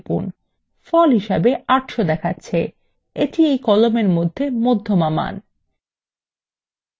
ফল হিসাবে ৮০০ দেখাচ্ছে the এই কলামের মধ্যমা খরচ